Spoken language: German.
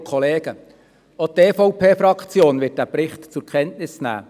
Auch die EVP-Fraktion wird diesen Bericht zur Kenntnis nehmen.